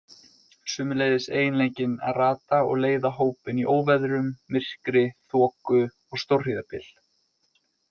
Sömuleiðis eiginleikinn að rata og leiða hópinn í óveðrum, myrkri, þoku og stórhríðarbyl.